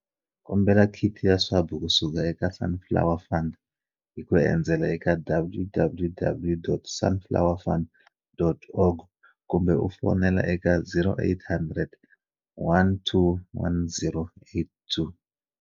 Kombela khiti ya swabu kusuka eka Sunflower Fund hi ku endzela www.sunflowerfund.org kumbe u fonela eka 0800 12 10 82.